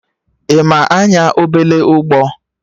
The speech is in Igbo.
Ị ma anya obele ụgbọ?